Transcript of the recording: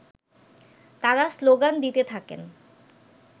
তারা শ্লোগান দিতে থাকেন